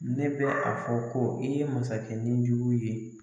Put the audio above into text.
Ne bɛ a fɔ ko i ye masakɛ nijugu ye.